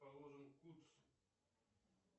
положен кутш